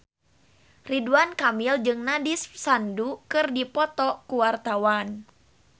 Ridwan Kamil jeung Nandish Sandhu keur dipoto ku wartawan